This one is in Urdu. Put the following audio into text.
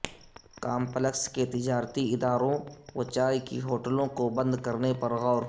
کامپلکس کے تجارتی اداروں و چائے کی ہوٹلوں کو بند کرنے پر غور